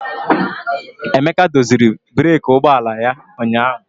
Emeka doziri breeki ụgbọ ala ya ụnyahụ.